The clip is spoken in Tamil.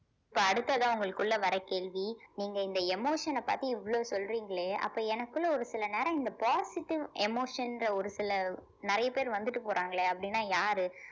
இப்ப அடுத்ததா உங்களுக்குள்ள வர கேள்வி நீங்க இந்த emotion அ பார்த்து இவ்வளவு சொல்றீங்களே அப்ப எனக்குள்ள ஒரு சில நேரம் இந்த positive emotion ன்ற ஒரு சில நிறைய பேர் வந்துட்டு போறாங்களே அப்படின்னா யாரு